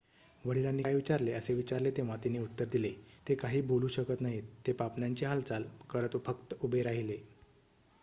"वडिलांनी काय विचारले असे विचारले तेव्हा तिने उत्तर दिले "ते काही बोलू शकत नाहीत - ते पापण्यांची हालचाल करत फक्त उभे राहिले.""